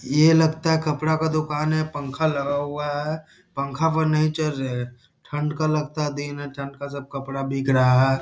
ये लगता है कपड़ा का दुकान है पंखा लगा हुआ है पंखा पर नहीं चल रहे ठंड का लगता दिन है ठंड का सब कपड़ा बिक रहा --